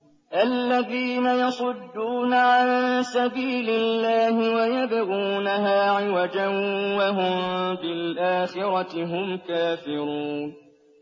الَّذِينَ يَصُدُّونَ عَن سَبِيلِ اللَّهِ وَيَبْغُونَهَا عِوَجًا وَهُم بِالْآخِرَةِ هُمْ كَافِرُونَ